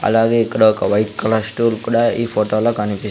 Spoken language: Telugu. అలాగే ఇక్కడ ఒక వైట్ కలర్ స్టూల్ కూడా ఈ ఫోటోలో కనిపి--